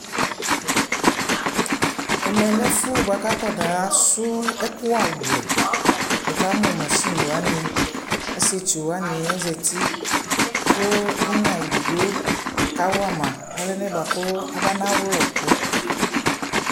ɛmɛlɛ ɛƒʋɛ bʋakʋ akɔna srɔ ɛkʋ awlɛ, wʋ kamʋ mashini wani, asɛtsʋ wani azati kʋina ɛdigbɔ kawama ɛlɛna bʋakʋ abana wlɛ ɛkʋ